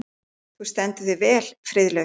Þú stendur þig vel, Friðlaug!